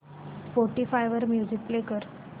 Spotify वर music play कर